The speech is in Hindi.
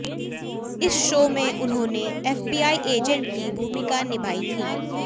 इस शो में उन्होंने एफबीआई एजेंट की भूमिका निभाई थी